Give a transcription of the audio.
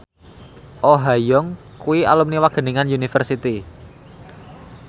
Oh Ha Young kuwi alumni Wageningen University